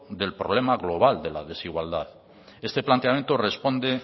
del problema global de la desigualdad este planteamiento responde